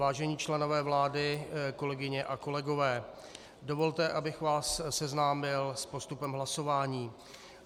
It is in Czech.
Vážení členové vlády, kolegyně a kolegové, dovolte, abych vás seznámil s postupem hlasování.